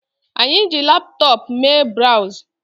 Anyi ji laptop Mee browz